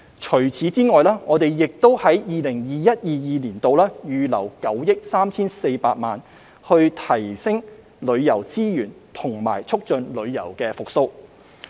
此外，我們亦在 2021-2022 年度預留了9億 3,400 萬元提升旅遊資源和促進旅遊復蘇。